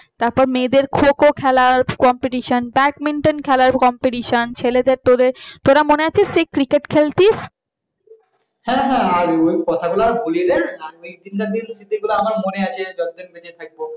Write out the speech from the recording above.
তারপর মেয়েদের খো খো খেলার competition ব্যাড মিউটন খেলা competition ছেলেদের তোরে তোরা মনে আছে সেই cricket খেলতিস